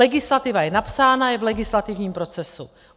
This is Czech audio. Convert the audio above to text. Legislativa je napsána, je v legislativním procesu.